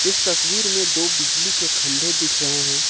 इस तस्वीर में दो बिजली के खंभे दिख रहे हैं।